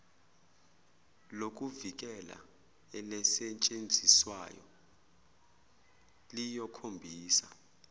lokuvikela elisetshenziswayo liyokhombisa